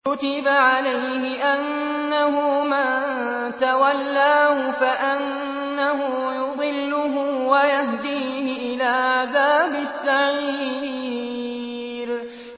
كُتِبَ عَلَيْهِ أَنَّهُ مَن تَوَلَّاهُ فَأَنَّهُ يُضِلُّهُ وَيَهْدِيهِ إِلَىٰ عَذَابِ السَّعِيرِ